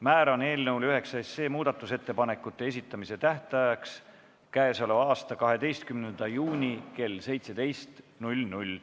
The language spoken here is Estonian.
Määran eelnõu 9 muudatusettepanekute esitamise tähtajaks k.a 12. juuni kell 17.